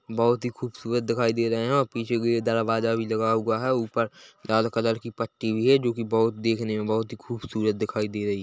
बहुत ही खुबसुरत दिखाई दे रहा है और पीछे कि तरफ दरवाजा भी लगा हुआ है उपर लाल कलर कि पट्टी है जो कि बहोत देखने मे बहुत खुबसुरत दिखाई दे रही है।